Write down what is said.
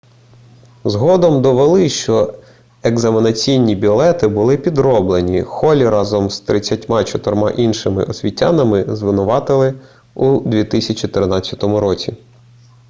згодом довели що екзаменаційні білети були підроблені холлі разом з 34 іншими освітянами звинуватили у 2013 році